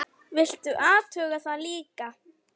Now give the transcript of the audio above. Viltu athuga það líka!